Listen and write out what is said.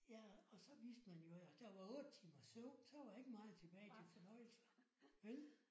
Ja og så vidste man i øvrigt også der var 8 timers søvn så var ikke meget tilbage til fornøjelse vel?